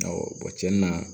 Awɔ cɛn na